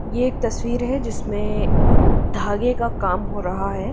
ये एक तस्वीर है जिसमें धागे का काम हो रहा है।